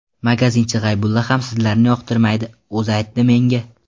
Magazinchi G‘aybulla ham sizlarni yoqtirmaydi, o‘zi aytdi menga.